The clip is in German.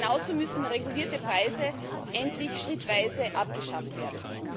Genauso müssen regulierte Preise endlich schrittweise abgeschafft werden.